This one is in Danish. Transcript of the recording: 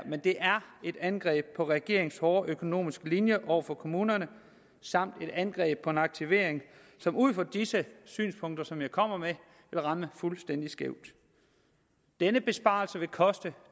et angreb på regeringens hårde økonomiske linje over for kommunerne samt et angreb på en aktivering som ud fra disse synspunkter som jeg kommer med vil ramme fuldstændig skævt denne besparelse vil koste